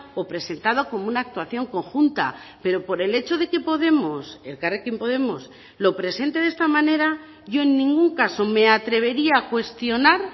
o presentado como una actuación conjunta pero por el hecho de que podemos elkarrekin podemos lo presente de esta manera yo en ningún caso me atrevería a cuestionar